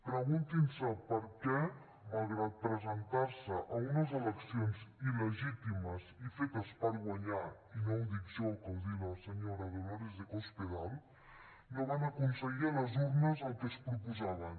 preguntin se per què malgrat presentar se a unes eleccions il·legítimes i fetes per guanyar i no ho dic jo que ho diu la senyora dolores de cospedal no van aconseguir a les urnes el que es proposaven